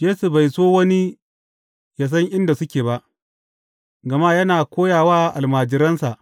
Yesu bai so wani yă san inda suke ba, gama yana koya wa almajiransa.